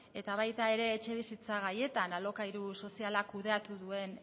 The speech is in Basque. eta baita ere etxebizitza gaietan alokairu soziala kudeatu duen